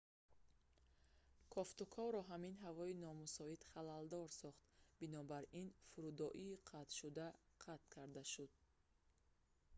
кофтуковро ҳамин ҳавои номусоид халалдор сохт бинобар ин фурудоӣ қатъшуда қатъ карда шуд